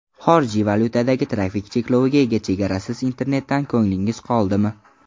Xorijiy valyutadagi trafik chekloviga ega chegarasiz internetdan ko‘nglingiz qoldimi?